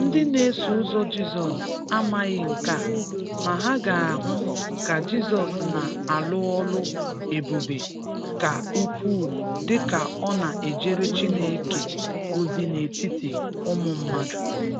Ndị na-eso ụzọ Jizọs amataghị nka, ma ha ga-ahụ ka Jizọs na-alụ ọlụ ebube ka ukwuu dị ka ọ na-ejere Chineke ozi n’etiti ụmụ mmadụ.